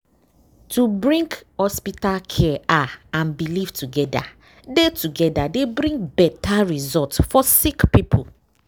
wait- to bring hospital care ah and belief togeda dey togeda dey bring beta result for sick poeple.